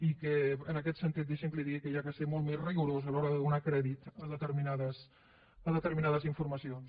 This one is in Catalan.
i en aquest sentit deixi’m que li digui que cal ser molt més rigorós a l’hora de donar crèdit a determinades informacions